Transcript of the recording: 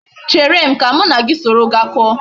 Chere m ka m na gi soro gaa ko